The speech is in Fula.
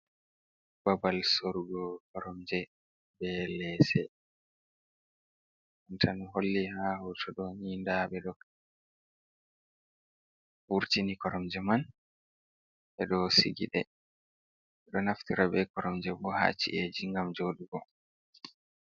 Babal sorgo koromje be lese, tan holli ha hoto ɗo ni nda ɓe ɗo wurtini koromje man ɓe ɗo sigi ɗe, ɓe ɗo naftira be koromje bo haci’eji ngam joɗugo.